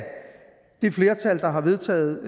det flertal der har vedtaget